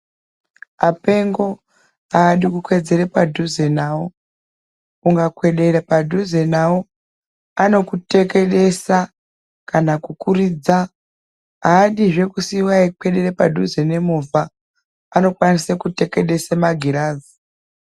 Apengo ahadi kukwedzera padhuze navo ungakwedera padhuze navo vanokutekedesa kana kukuridza haadizve kusiya veikwedera padhuze nemovha anokwanisa kutekedesa magirazi